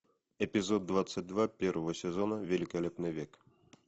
эпизод двадцать два первого сезона великолепный век